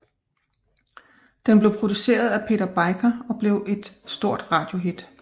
Den blev produceret af Peter Biker og blev et stort radiohit